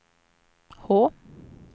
H